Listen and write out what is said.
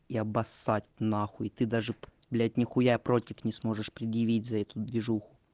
и обоссать нахуй ты даже блять нехуя против не сможешь предъявить за эту движуху